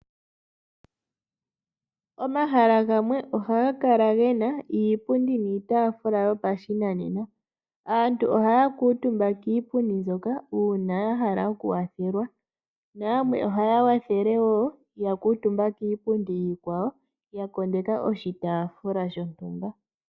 Omahala gamwe oha gakala gena iipundi niitafula yopa shinanena, aantu ohaya kuutumba kiipundi nzoka uuna yahala oku kwathelwa, na yamwe ohaya wathele woo ya kuutumba kiipundi iikwawo yakondeka oshitafula shontumba.